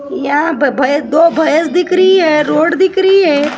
यहाँ पर भैस दो भैंस दिख रही है रोड दिख रही है।